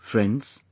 Friends,